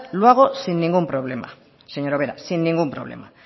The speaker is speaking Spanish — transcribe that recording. lo hago sin ningún problema señora ubera sin ningún problema